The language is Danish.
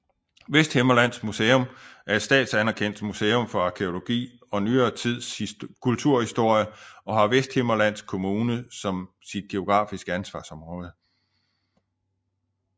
Vesthimmerlands Museum er et statsanerkendt museum for arkæologi og nyere tids kulturhistorie og har Vesthimmerlands Kommune som sit geografiske ansvarsområde